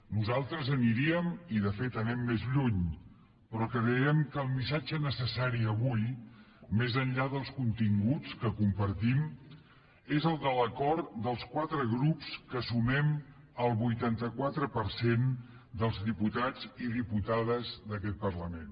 nosaltres aniríem i de fet hi anem més lluny però creiem que el missatge necessari avui més enllà dels continguts que compartim és el de l’acord dels quatre grups que sumem el vuitanta quatre per cent dels diputats i diputades d’aquest parlament